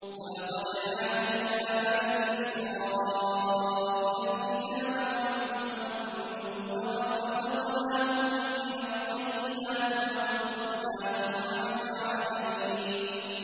وَلَقَدْ آتَيْنَا بَنِي إِسْرَائِيلَ الْكِتَابَ وَالْحُكْمَ وَالنُّبُوَّةَ وَرَزَقْنَاهُم مِّنَ الطَّيِّبَاتِ وَفَضَّلْنَاهُمْ عَلَى الْعَالَمِينَ